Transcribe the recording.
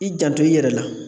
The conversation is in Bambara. I janto i yɛrɛ la!